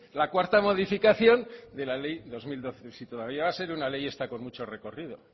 la cuarta modificación de la ley dos mil doce si todavía va a ser una ley esta con mucho recorrido